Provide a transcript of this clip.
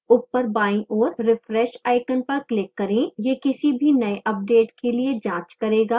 ऊपर बाईं ओर refresh icon पर click करें